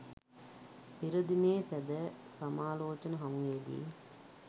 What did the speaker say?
පෙර දිනයේ සැදැ සමාලෝචන හමුවේදී